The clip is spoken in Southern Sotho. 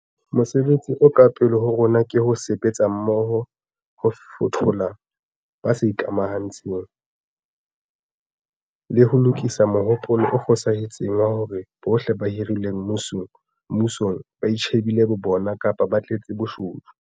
Mosebetsi o ka pele ho rona ke ho sebetsa mmoho ho fothola ba sa ikamantshe ng, le ho lokisa mohopolo o fosahetseng wa hore bohle ba hirilweng mmusong ba itjhe bile bo bona kapa ba tletse bobodu.